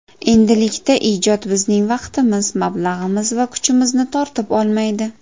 Endilikda ijod bizning vaqtimiz, mablag‘imiz va kuchimizni tortib olmaydi.